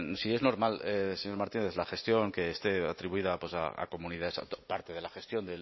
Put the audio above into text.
sí es normal señor martínez la gestión que esté atribuida a comunidades parte de la gestión